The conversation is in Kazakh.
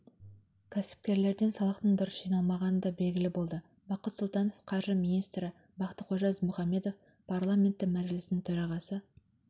кәсіпкерлерден салықтың дұрыс жиналмағаны да белгілі болды бақыт сұлтанов қаржы министрі бақтықожа ізмұхамбетов парламенті мәжілісінің төрағасы